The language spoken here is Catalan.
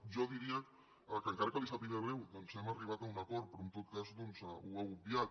jo diria que encara que li sàpiga greu doncs hem arribat a un acord pe·rò en tot cas doncs ho ha obviat